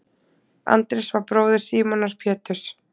Andrés var bróðir Símonar Péturs.